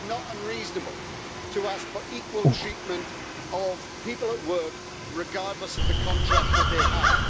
It is not unreasonable to ask for equal treatment of people at work regardless of the contract that they have.